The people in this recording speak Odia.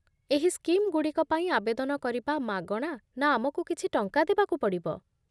ଏହି ସ୍କିମ୍‌ଗୁଡ଼ିକ ପାଇଁ ଆବେଦନ କରିବା ମାଗଣା ନା ଆମକୁ କିଛି ଟଙ୍କା ଦେବାକୁ ପଡ଼ିବ?